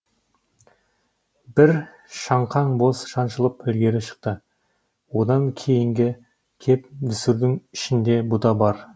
бір шаңқан боз шаншылып ілгері шықты одан кейінгі кеп дүсірдің ішінде бұ да бар